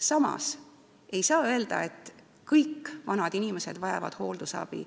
Samas ei saa öelda, et kõik vanad inimesed vajavad hooldusabi.